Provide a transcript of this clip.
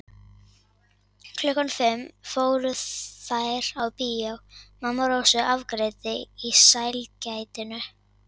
Klukkan fimm fóru þær á bíó, mamma Rósu afgreiddi í sælgætinu.